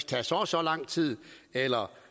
tage så og så lang tid eller